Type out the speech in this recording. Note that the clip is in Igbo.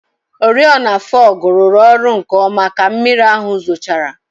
Oriọna fọgụ rụrụ ọrụ nkeọma ka mmiri ahụ zochara.